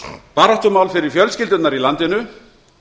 baráttumál fyrir fjölskyldurnar í landinu